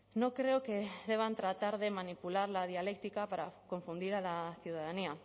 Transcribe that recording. no creo que deban tratar de manipular la dialéctica para confundir a la ciudadanía